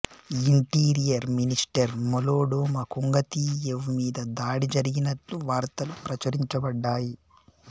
interior minister మొలోడొమ కొంగతియేవ్ మీద దాడి జరిగినట్లు వార్తలు ప్రచురించబడ్డాయి